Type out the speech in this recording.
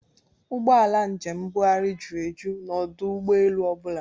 Ụgbọala njem mbugharị jụrụ eju n'ọdụ ụgbọelu ọ bụla